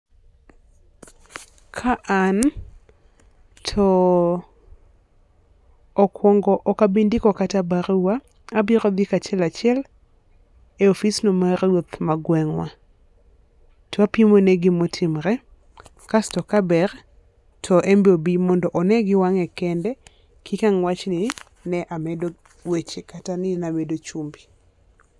Ka an to okuongo ok abi ndiko kata barua abiro dhi kachiel kachiel e ofis no mar ruoth ma gweng'wa. To apimo ne gi ma otimore kasto ka ber to en be obi onenn gi wang'e kende kik ang' wach ni amedo weche kata ni na amedo chumbi.